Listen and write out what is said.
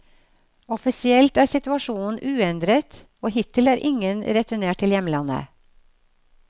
Offisielt er situasjonen uendret, og hittil er ingen returnert til hjemlandet.